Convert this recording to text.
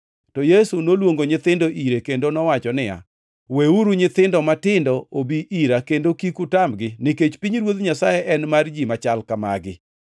To Yesu noluongo nyithindo ire kendo nowacho niya, “Weuru nyithindo matindo obi ira, kendo kik utamgi, nikech pinyruoth Nyasaye en mar ji machal ka magi.